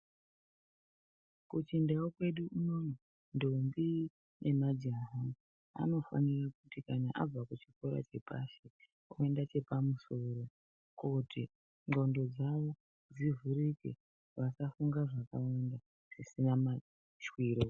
Kuchindau kwedu unono ndombi nemajaha anofanire kuti kana abva kuchikora chepashi oyenda chepamusoro kuti ndxondo dzawo dzivhurike vasafunga zvakanyanya zvisina mashwiro.